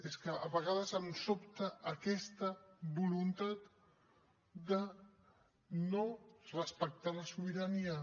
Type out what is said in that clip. és que a vegades em sobta aquesta voluntat de no respectar la sobirania